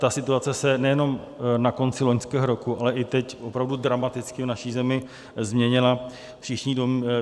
Ta situace se nejenom na konci loňského roku, ale i teď opravdu dramaticky v naší zemi změnila.